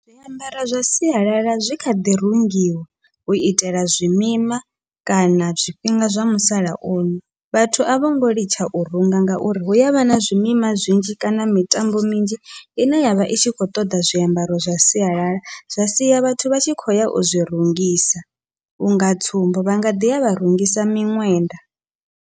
Zwiambaro zwa sialala zwi kha ḓi rungiwa u itela zwimima kana zwifhinga zwa musalauno vhathu a vhongo litsha u runga, ngauri hu yavha na zwimima zwinzhi kana mitambo minzhi ine yavha i tshi khou ṱoḓa zwiambaro zwa sialala, zwa siya vhathu vha tshi khou ya u zwi rungisa unga tsumbo vhanga ḓiya vha rungisa miṅwenda.